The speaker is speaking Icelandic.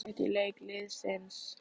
Hvað fannst þér jákvætt í leik liðsins?